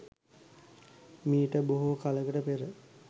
මීට බොහෝ කලකට පෙර